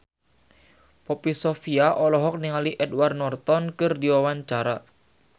Poppy Sovia olohok ningali Edward Norton keur diwawancara